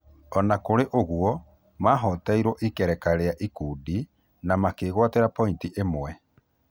Ona kũrĩ ũguo mahoteirwo ikerekainĩ rĩa ikundi na makĩgwatĩra pointi ĩmwe.